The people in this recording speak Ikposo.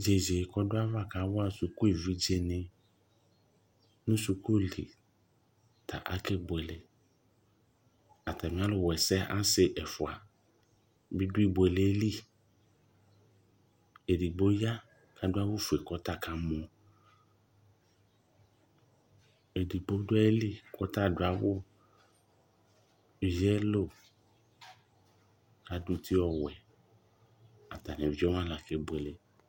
Zɩzɩ kʋ ɔdʋ ava kawa sukuevidzenɩ nʋ sukuli ta kasɛbuele Atamɩalʋwaɛsɛ asɩ ɛfʋa bɩ dʋ ibuele yɛ li Edigbo ya kʋ adʋ awʋfue kʋ ɔta kamɔ Edigbo dʋ ayili kʋ ɔta adʋ awʋ yelo, adʋ uti ɔwɛ, ɔta nʋ evidze wanɩ la kebuele